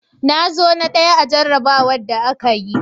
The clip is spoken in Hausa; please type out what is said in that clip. Na zo na ɗaya a jarrabawar da aka yi.